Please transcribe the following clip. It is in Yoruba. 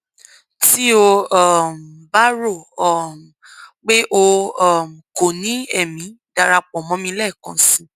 ti o um ba ro um pe o um ko ni ẹmi darapọ mọ mi lẹẹkan si